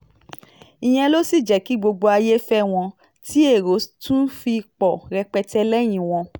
ìyẹn ló sì jẹ́ kí gbogbo ayé fẹ́ wọn tí èrò tún fi pọ̀ rẹpẹtẹ lẹ́yìn wọn